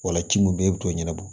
Ola ci mun be e bu t'o ɲɛnabɔ